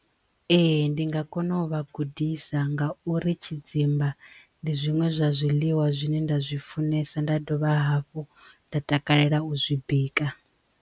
Ee ndi nga kona u vhagudisa ngauri tshidzimba ndi zwiṅwe zwa zwiḽiwa zwine nda zwi funesa nda dovha hafhu nda takalela u zwi bika.